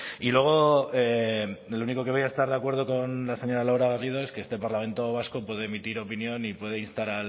y luego en lo único que voy a estar de acuerdo con la señora laura garrido es que este parlamento vasco puede emitir opinión y puede instar